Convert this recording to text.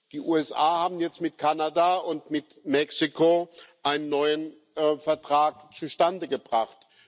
Die USA haben jetzt mit Kanada und mit Mexiko einen neuen Vertrag zustande gebracht.